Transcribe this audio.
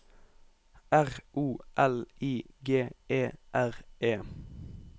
R O L I G E R E